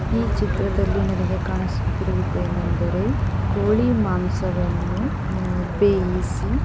ಈ ಚಿತ್ರದಲ್ಲಿ ನನಗೆ ಕಾಣಿಸುತ್ತಿರುವವರು ಏನೆಂದರೆ ಕೋಳಿ ಮಾಂಸವನ್ನು ಬೆಯಿಸಿ --